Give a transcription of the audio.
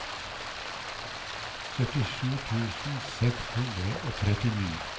syttisju tusen seks hundre og trettini